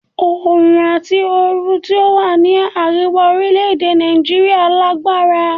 Oòrùn àti oru tí ó wà ní àríwá orílè-èdè Nàìjíríà lágbára.